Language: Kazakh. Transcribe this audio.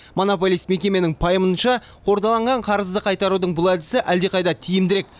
монополист мекеменің пайымынша қордаланған қарызды қайтарудың бұл әдісі әлдеқайда тиімдірек